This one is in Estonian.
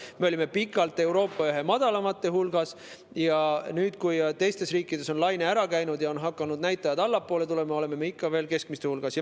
Me olime pikalt Euroopa madalamate hulgas ja nüüd, kui teistest riikidest on laine üle käinud ja näitajad on hakanud allapoole tulema, oleme me ikka veel keskmiste hulgas.